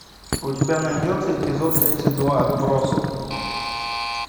у тебя найдется эпизод тридцать два отбросы